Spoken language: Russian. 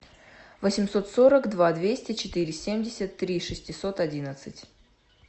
восемьсот сорок два двести четыре семьдесят три шестьсот одиннадцать